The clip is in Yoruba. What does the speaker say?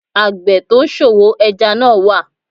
Àgbẹ̀ tó ń ṣòwò ẹja náà wà